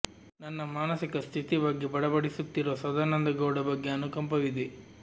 ನನ್ನ ಮಾನಸಿಕ ಸ್ಥಿತಿ ಬಗ್ಗೆ ಬಡಬಡಿಸುತ್ತಿರುವ ಸದಾನಂದ ಗೌಡ ಬಗ್ಗೆ ಅನುಕಂಪವಿದೆ